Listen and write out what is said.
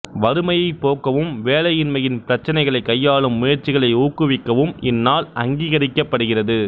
வறுமையைப் போக்கவும் வேலையின்மையின் பிரச்சினைகளைக் கையாளும் முயற்சிகளை ஊக்குவிக்கவும் இந்நாள் அங்கீகரிக்கப்படுகிறது